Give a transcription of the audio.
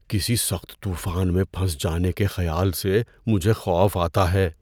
کسی سخت طوفان میں پھنس جانے کے خیال سے مجھے خوف آتا ہے۔